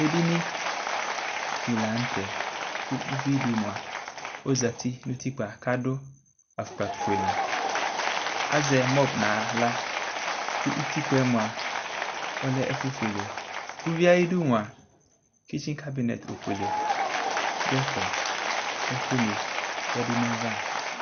ɛɖiŋiɗilɑṇωtɛ kω ωʋiḍimωɑ ɔʒɑti ṅωtikpɑ kɑḍω ɑfωkpɑ fωɛlɛ ɑzɛmot ɲɑlɑωtikpɑɛ mωɑ ɔlɛ éfωƒulɛ ụviɛ ɑyiɗumuɑ ɛtsikɑɖu ɲɛtufuɛlé ωviɛ ɑyidumuɑ tsitsikɑɗu ɲɛtufuɛlɛ ɲɛfé kɛku ṇiyɛɗuɲɑyɑvɑ